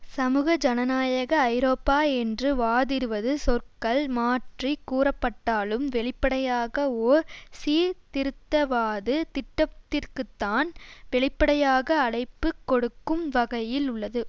சமூக ஜனநாயக ஐரோப்பா என்று வாதிடுவது சொற்கள் மாற்றி கூறப்பட்டாலும் வெளிப்படையாக ஓர் சீர்திருத்தவாத திட்டத்திற்குத்தான் வெளிப்படையாக அழைப்புக் கொடுக்கும் வகையில் உள்ளது